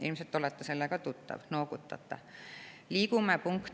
Ilmselt olete sellega tuttav?